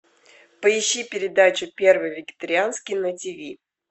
поищи передачу первый вегетарианский на тиви